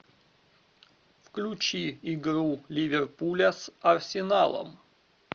включи игру ливерпуля с арсеналом